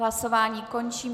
Hlasování končím.